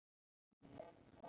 Það gæti hafa gerst.